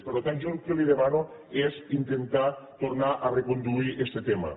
per tant jo el que li demano és intentar tornar a reconduir este tema